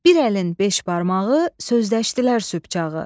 Bir əlin beş barmağı sözləşdilər sübh çağı.